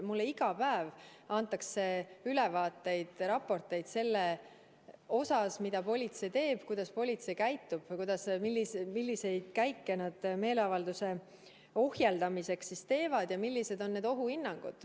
Mulle iga päev antakse ülevaateid, raporteid sellest, mida politsei teeb, kuidas politsei käitub, milliseid käike nad meeleavalduste ohjeldamiseks teevad ja millised on ohuhinnangud.